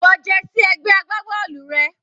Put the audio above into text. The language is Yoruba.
Wọ jersey ẹgbẹ́ agbábọ́ọ̀lù rẹ.